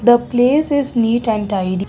the place is neat and tidy.